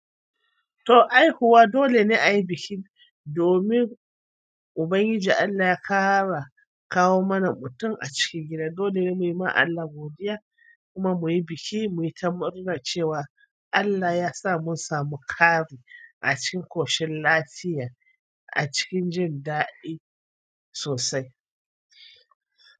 To haihuwa dole ne a yi biki domin Ubangiji Allah ya ƙara kawo mana mutum a cikin gida. Dole mu yi ma Allah godiya kuma mu yi bikin mu yi ta murna cewa allah yasa mun sami ƙari acikin ƙoshin lafiya acikin jindaɗi sosai.